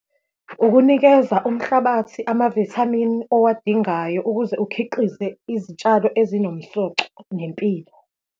Ukunikeza umhlabathi amavithamini owadingayo ukuze ukhiqize izitshalo ezinomsoco nempilo.